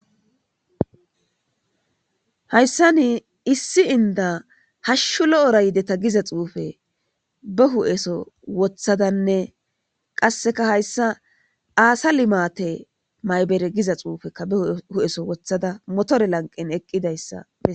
Hayisan issi inida hashu lo'ora yideta giza xupe ba hupheso wothadane qaseka hayisa assa limatte xupheka ba hupheson wothada motore